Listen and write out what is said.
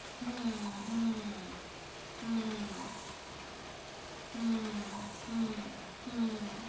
हं हं हं हं हं हं.